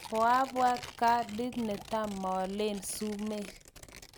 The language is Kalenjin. Koabwat kandi netamolen sumek.